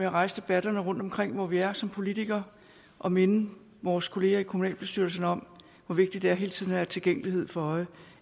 at rejse debatterne rundt omkring hvor vi er som politikere og minde vores kolleger i kommunalbestyrelserne om hvor vigtigt det er hele tiden at have tilgængelighed for øje